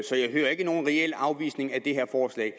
så jeg hører ikke nogen reel afvisning af det her forslag